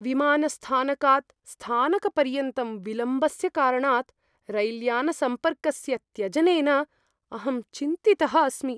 विमानस्थानकात् स्थानकपर्यन्तं विलम्बस्य कारणात् रैल्यानसम्पर्कस्य त्यजनेन अहं चिन्तितः अस्मि।